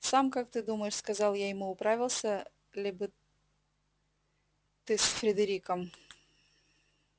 сам как ты думаешь сказал я ему управился ли бы ты с фридериком